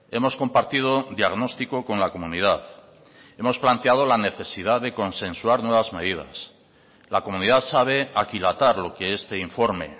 hemos compartido diagnóstico con la comunidad hemos planteado la necesidad de consensuar nuevas medidas la comunidad sabe aquilatar lo que este informe